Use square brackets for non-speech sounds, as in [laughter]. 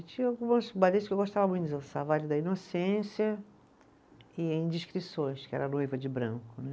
E tinha algumas [unintelligible] que eu gostava muito de dançar, o Baile da Inocência e Indiscrições, que era a [unintelligible] de Branco.